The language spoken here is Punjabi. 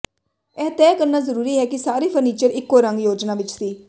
ਇਹ ਤੈਅ ਕਰਨਾ ਜ਼ਰੂਰੀ ਹੈ ਕਿ ਸਾਰੇ ਫਰਨੀਚਰ ਇੱਕੋ ਰੰਗ ਯੋਜਨਾ ਵਿਚ ਸੀ